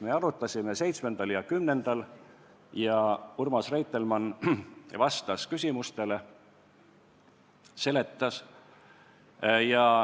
Me arutasime seda teemat 7. ja 10. oktoobril ning Urmas Reitelmann vastas küsimustele ja seletas.